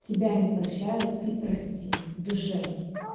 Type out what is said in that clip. тебя не прощают ты прости в душе